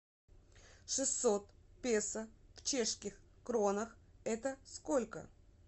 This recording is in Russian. шестьсот песо в чешских кронах это сколько